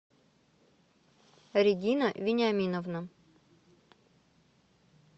регина вениаминовна